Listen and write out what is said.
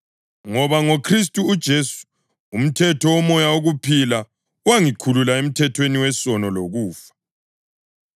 ngoba ngoKhristu uJesu umthetho woMoya wokuphila wangikhulula emthethweni wesono lokufa.